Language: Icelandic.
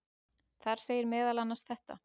Þar segir meðal annars þetta: